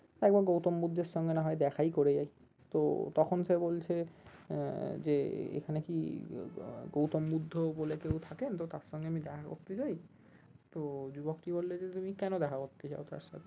একবার গৌতম বুদ্ধের সঙ্গে না হয় দেখাই করে যাই তো তখন সে বলছে আহ যে এখানে কি গৌতম বুদ্ধ বলে কেও থাকেন? তো তার সঙ্গে আমি দেখা করতে চাই তো যুবকটি বললো যে তুমি কেন দেখা করতে চাও তার সাথে?